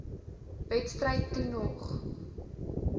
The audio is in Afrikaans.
wedstryd toe nog